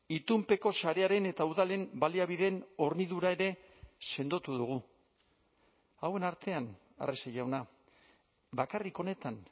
itunpeko sarearen eta udalen baliabideen hornidura ere sendotu dugu hauen artean arrese jauna bakarrik honetan